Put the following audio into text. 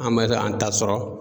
An bɛ se k' an ta sɔrɔ